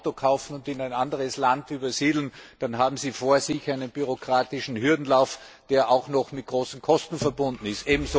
Wenn Sie ein Auto kaufen und in ein anderes Land übersiedeln, dann haben Sie einen bürokratischen Hürdenlauf vor sich, der auch noch mit großen Kosten verbunden ist.